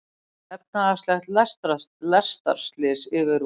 Efnahagslegt lestarslys yfirvofandi